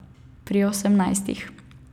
Pri osemnajstih!